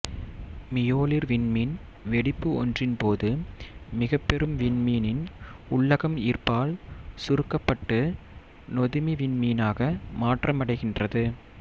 மீயொளிர் விண்மீன் வெடிப்பு ஒன்றின் போது மிகப்பெரும் விண்மீனின் உள்ளகம் ஈர்ப்பால் சுருக்கப்பட்டு நொதுமி விண்மீனாக மாற்றமடைகின்றது